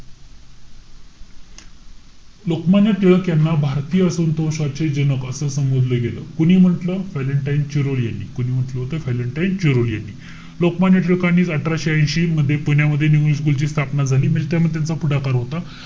लोकमान्य टिळक यांना भारतीय असंतोषाचे जनक असं संबोधलं गेलं. कोणी म्हंटल? व्हॅलेंटाईन क्युरो यांनी. कोणी म्हंटल होत? व्हॅलेंटाईन क्युरो यांनी. लोकमान्य टिळकांनी अठराशे ऐशी मध्ये पुण्यामध्ये न्यू इंग्लिश स्कूल ची स्थापना झाली. त्यामध्ये त्यांचा पुढाकार होता.